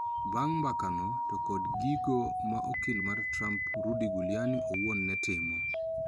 Bang` mbakano to kod gigo ma okil mar Trump Rudy Giuliani owuon ne timo